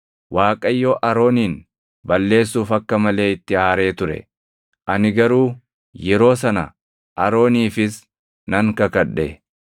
Waaqayyo Aroonin balleessuuf akka malee itti aaree ture; ani garuu yeroo sana Arooniifis nan kadhadhe.